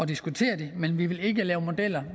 diskutere det men vi vil ikke lave modeller